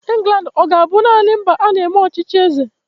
England ọ ga-abụ naanị mba a na-eme ọchịchị eze?